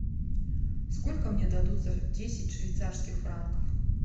сколько мне дадут за десять швейцарских франков